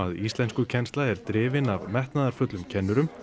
íslenskukennsla er drifin af metnaðarfullum kennurum